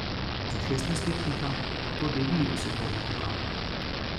Za šestnajstletnika bo to debi v svetovnem pokalu.